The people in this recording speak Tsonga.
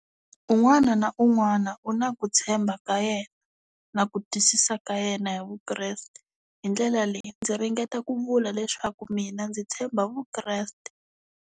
Un'wana na un'wana u na ku tshemba ka yena na ku twisisa ka yena hi Vukreste hi ndlela leyi ndzi ringeta ku vula leswaku mina ndzi tshemba Vukreste.